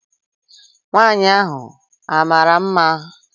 Nwaanyị ahụ a mara mma?